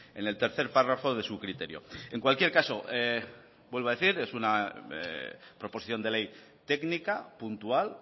en el tercer párrafo de su criterio en cualquier caso vuelvo a decir es una proposición de ley técnica puntual